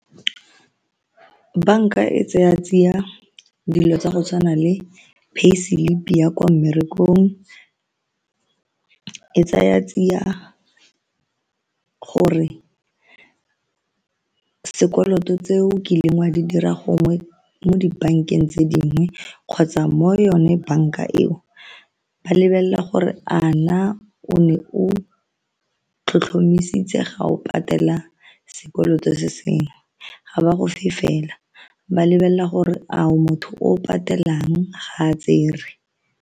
Banka e tsaya tsiya dilo tsa go tshwana le pay slip ya kwa mmerekong e tsaya tsia gore sekoloto tse o kileng wa di dira gongwe mo dibankeng tse dingwe kgotsa mo yone banka eo, ba lebelela gore a na o ne o tlhotlhomisitse ga o patela sekoloto se sengwe, ga ba go fela ba lebelela gore a o motho o o patelang ga a tsere.